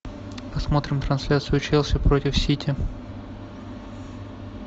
посмотрим трансляцию челси против сити